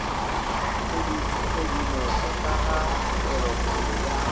tshedimopo ka ga tpwelopele ya